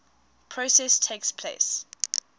process takes place